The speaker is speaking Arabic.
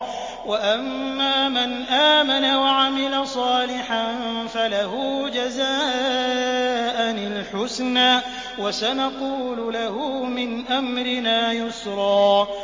وَأَمَّا مَنْ آمَنَ وَعَمِلَ صَالِحًا فَلَهُ جَزَاءً الْحُسْنَىٰ ۖ وَسَنَقُولُ لَهُ مِنْ أَمْرِنَا يُسْرًا